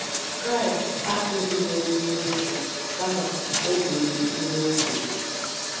Kraịst akụzighị okwu n'efu, kama o biri ihe O kwuru